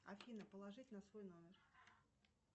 афина положить на свой номер